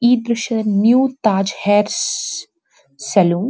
ಈ ದ್ರಶ್ಯದಲ್ಲಿ new Taj hair salon -